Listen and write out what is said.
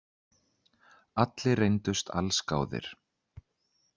Allir reyndust allsgáðir